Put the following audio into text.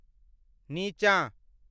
नीचाँ ।